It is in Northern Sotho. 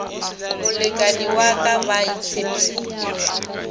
molekani wa ka ba itshepile